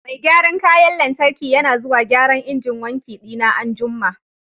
Mai gyaran kayan lantarki yana zuwa gyaran injin wanki dina an'jumma.